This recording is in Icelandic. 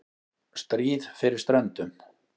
STRÍÐ FYRIR STRÖNDUM